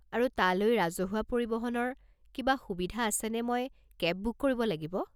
আৰু তালৈ ৰাজহুৱা পৰিবহণৰ কিবা সুবিধা আছেনে মই কেব বুক কৰিব লাগিব?